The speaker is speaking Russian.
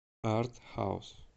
арт хаус